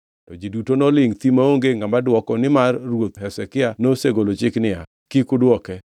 To ji duto nolingʼ thi maonge ngʼama dwoko nimar ruoth Hezekia nosegolo chik niya, “Kik udwoke.”